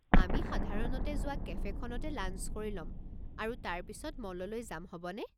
আমি সাধাৰণতে যোৱা কেফে'খনতে লাঞ্চ কৰি ল'ম আৰু তাৰ পিছত মললৈ যাম হ'বনে?